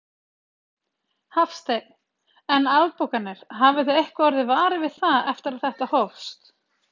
Hafsteinn: En afbókanir, hafið þið eitthvað orðið varir við það eftir að þetta hófst?